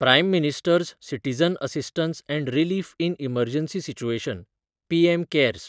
prime minister's citizen assistance and relief in emergency situation (PM cares)